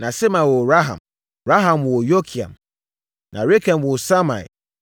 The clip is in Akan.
Na Sema woo Raham. Raham woo Yorkeam. Na Rekem woo Samai.